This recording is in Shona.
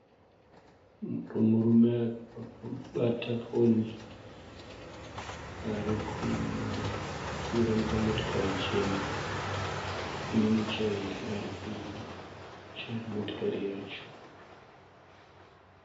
Murume akabata foni ari kupfuura nepamotokari chena ine muchairi ari kuchaira motokari yacho.